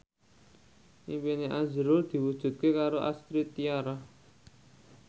impine azrul diwujudke karo Astrid Tiar